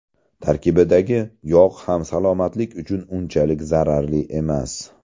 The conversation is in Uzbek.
Tarkibidagi yog‘ ham salomatlik uchun unchalik zararli emas.